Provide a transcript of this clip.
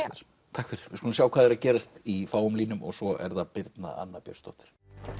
takk fyrir við skulum sjá hvað er að gerast í fáum línum svo er það Birna Anna Björnsdóttir